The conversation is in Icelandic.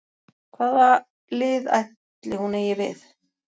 Hvað lið ætli hún eigi við?